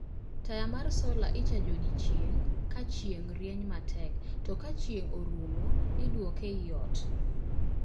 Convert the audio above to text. Taya mar sola ichajo odiechieng' ka chieng' rieny matek to ka chieng' orumo iduoke e I ot